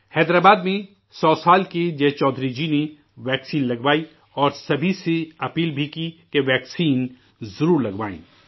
حیدرآباد میں 100 سال کے جے چودھری جی نے ٹیکہ لگوائی اور سبھی سے اپیل بھی ہے کہ ٹیکہ ضرور لگوائیں